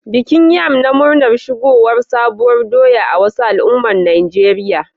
Bikin yam na murnar shigowar sabuwar doya a wasu al'ummar Najeriya